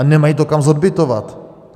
A nemají to kam zodbytovat.